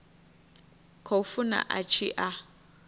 khou funa a tshi a